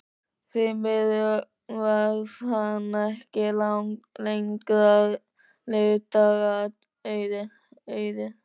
Því miður varð henni ekki langra lífdaga auðið.